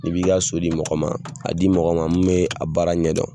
I b'i ka so di mɔgɔ ma, a di mɔgɔ ma min bɛ a baara ɲɛ dɔn.